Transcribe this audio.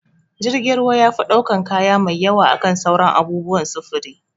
Jirgin ruwa yafi ɗaukan kaya mai yawa akan sauran abubuwan sufuri